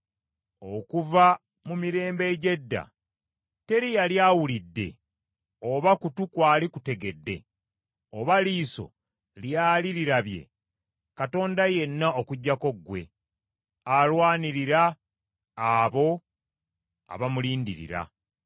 Okuva mu mirembe egy’edda teri yali awulidde oba kutu kwali kutegedde, oba liiso lyali lirabye Katonda yenna okuggyako ggwe, alwanirira abo abamulindirira.